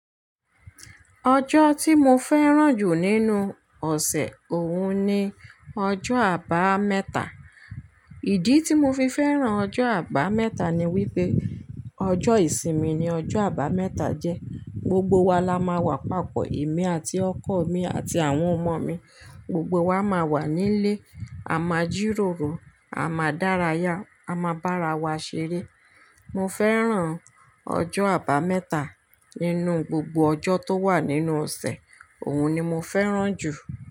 Ọjọ́ tí mo fẹ́ràn jù nínú ọ̀sẹ̀, òun ni ọjọ́ Àbámẹ́ta. Ìdí tí mo fi fẹ́ràn ọjọ́ Àbámẹ́ta ni wípé, ọjọ́ ìsinmi ni ọjọ́ Àbámẹ́ta jẹ́. Gbogbo wa la máa wà papọ̀, èmi àti ọkọ̀ mi àti àwọn ọmọ mi, gbogbo wa máa wà nílé, a máa jíròrò, a máa dárayá, a máa bára wa ṣeré. Mo fẹ́ràn ọjọ́ Àbámẹ́ta. Nínú gbogbo ọjọ́ tó wà nínú ọ̀sẹ̀, òun ni mo fẹ́ràn jù.